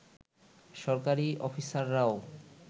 সরকারি অফিসাররাও